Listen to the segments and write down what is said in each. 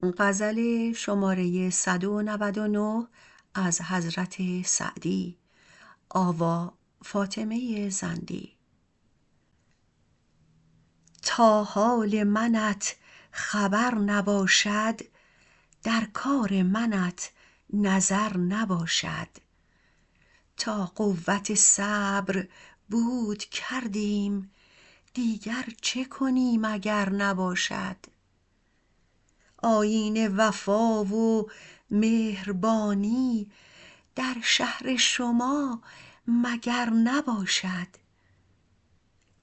تا حال منت خبر نباشد در کار منت نظر نباشد تا قوت صبر بود کردیم دیگر چه کنیم اگر نباشد آیین وفا و مهربانی در شهر شما مگر نباشد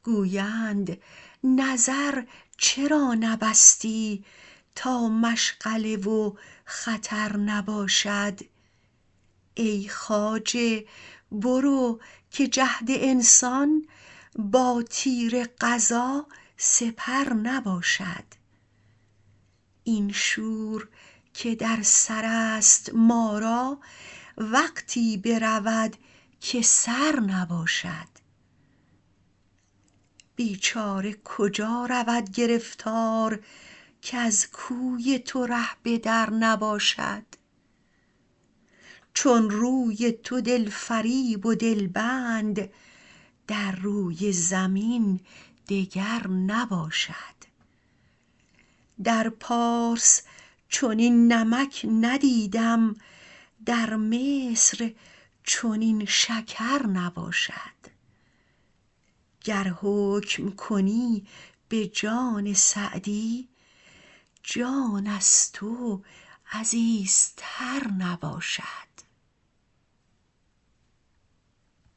گویند نظر چرا نبستی تا مشغله و خطر نباشد ای خواجه برو که جهد انسان با تیر قضا سپر نباشد این شور که در سر است ما را وقتی برود که سر نباشد بیچاره کجا رود گرفتار کز کوی تو ره به در نباشد چون روی تو دل فریب و دل بند در روی زمین دگر نباشد در پارس چنین نمک ندیدم در مصر چنین شکر نباشد گر حکم کنی به جان سعدی جان از تو عزیزتر نباشد